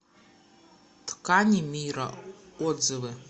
ткани мира отзывы